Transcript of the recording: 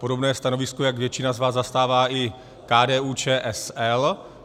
Podobné stanovisko jak většina z vás zastává i KDU-ČSL.